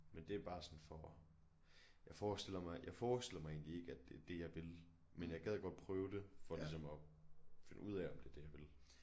Men det er bare sådan for at jeg forestiller mig jeg forestiller mig egentlig ikke at det er det jeg vil men jeg gad godt prøve det for ligesom at finde af om det er det jeg vil